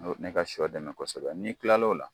Ni ka sɔ dɛmɛ kosɛbɛ n'i tilal'o la